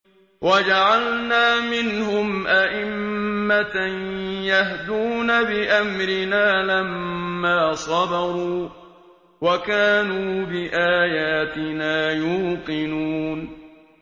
وَجَعَلْنَا مِنْهُمْ أَئِمَّةً يَهْدُونَ بِأَمْرِنَا لَمَّا صَبَرُوا ۖ وَكَانُوا بِآيَاتِنَا يُوقِنُونَ